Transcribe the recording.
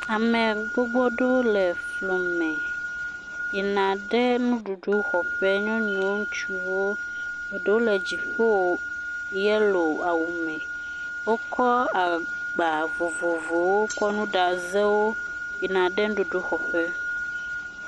Ame gbogbo aɖewo le fli me, yina ɖe nuɖuɖu xɔ ƒe. Nyɔnu, ŋutsuwo. Eɖewo le dziƒo yelow awu me. Wokɔ agba vovovowo yina ɖe nuɖuɖu xɔ ƒe.